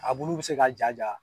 A bulu bi se ka jaja